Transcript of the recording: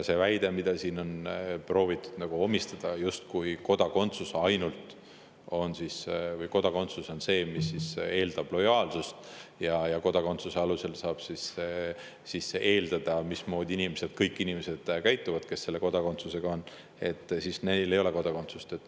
See väide, mida siin on, justkui kodakondsus on see, mis eeldab lojaalsust, ja kodakondsuse alusel saab eeldada, mismoodi käituvad kõik inimesed, kes kodakondsusega on – neil ei ole kodakondsust.